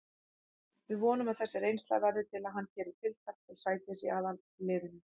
Við vonum að þessi reynsla verði til að hann geri tilkall til sætis í aðalliðinu.